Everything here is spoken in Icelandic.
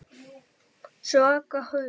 Svaka haus.